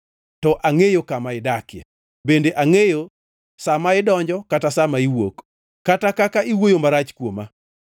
“To angʼeyo kama idakie, bende angʼeyo sa ma idonjo kata sa ma iwuok, kata kaka iwuoyo marach kuoma.